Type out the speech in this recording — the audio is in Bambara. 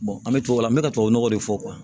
an bɛ tubabu la n bɛ tubabu nɔgɔ de fɔ